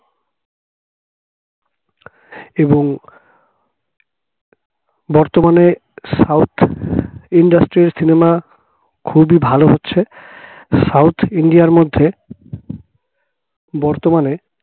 এবং বর্তমানে south industry cinema খুবই ভালো হচ্ছে south ইন্ডিয়ার মধ্যে বর্তমানে